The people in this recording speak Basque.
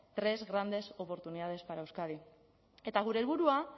tres grandes oportunidades para euskadi eta gure helburua